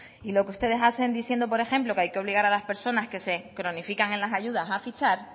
y lo que ustedes haciendo diciendo por ejemplo que hay que obligar a las personas que se cronifican en las ayudas a fichar